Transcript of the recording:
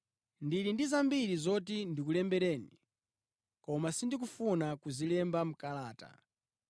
Ndili ndi zambiri zoti ndikulembereni, koma sindikufuna kuzilemba mʼkalata.